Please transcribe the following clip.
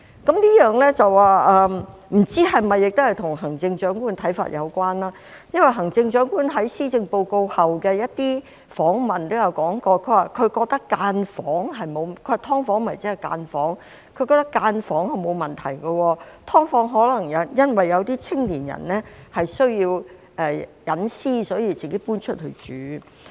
這不知是否與行政長官的看法有關，因為行政長官在發表施政報告後的一些訪問中提到，她認為"劏房"即是分間房，她覺得分間房沒有問題，因為有些青年人可能需要私隱，所以自己搬出去住。